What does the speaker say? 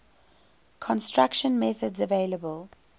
construction methods available